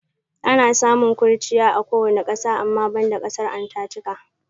Ana samun kurchiya a kowane ƙasa ama banda ƙasar Antatika.